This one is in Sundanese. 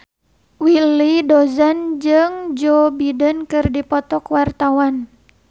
Willy Dozan jeung Joe Biden keur dipoto ku wartawan